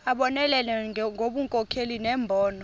abonelele ngobunkokheli nembono